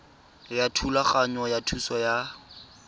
ya thulaganyo ya thuso ya